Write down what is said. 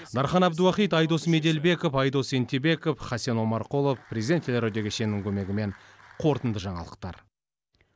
дархан әбдуахит айдос меделбеков айдос ентебеков хасен омарқұлов президент телерадио кешенінің көмегімен қорытынды жаңалықтар